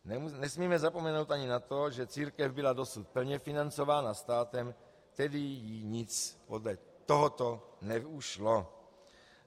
Nesmíme zapomenout ani na to, že církev byla dosud plně financována státem, tedy jí nic podle tohoto neušlo.